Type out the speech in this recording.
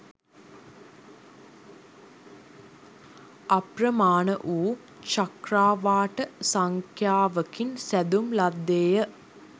අප්‍රමාණ වු චක්‍රාවාට සංඛ්‍යාවකින් සැදුම් ලද්දේය.